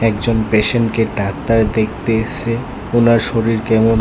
একজন পেশেন্টকে ডাক্তার দেখতে এসছে ওনার শরীর কেমন--